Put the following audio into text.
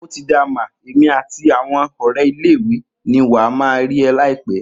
otida ma, èmi àti àwon òré ile iwe ni wa ma ri eh laipe